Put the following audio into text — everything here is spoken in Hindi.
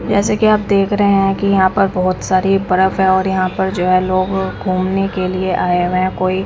जैसे कि आप देख रहे हैं कि यहां पर बहोत सारे बर्फ है और यहां पर जो है लोग घूमने के लिए आए हुए है कोई--